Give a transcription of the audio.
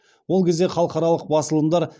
ол кезде халықаралық басылымдар